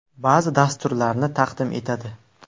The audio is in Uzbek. Ba’zi dasturlarni taqdim etadi.